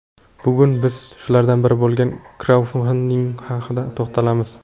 Bugun biz shulardan biri bo‘lgan kraudfanding haqida to‘xtalamiz.